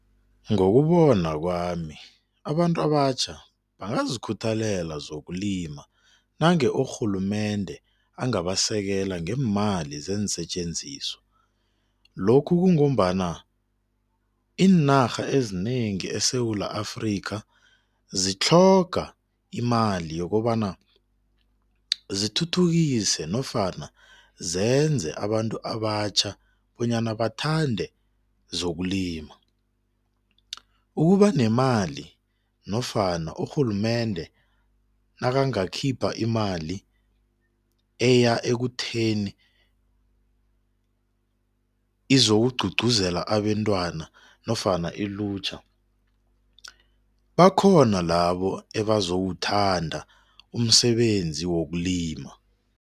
Ngokubona kwami abantu abatjha bangazikhuthalela zokulima nange urhulumende angabasekela ngeemali zeensetjenziswa. Lokhu kungombana iinarha ezinengi eSewula Afrikha zitlhoga imali yokobana zithuthukise nofana zenze abantu abatjha bonyana bathande zokulima. Ukuba nemali nofana urhulumende nakangakhipha imali eya ekutheni izokugqugquzela abentwana nofana ilutjha bakhona labo ebawuthanda umsebenzi wokulima.